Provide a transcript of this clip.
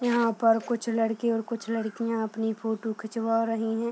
यहां पर कुछ लड़के और कुछ लड़कियां अपनी फोटो खिंचवा रहीं हैं।